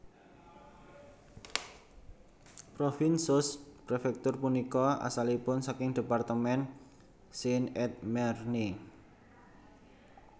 Provins sous préfecture punika asalipun saking département Seine et Marne